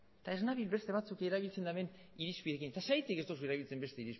eta ez nabil beste batzuek erabiltzen duten irizpideekin eta zergatik ez duzu erabiltzen beste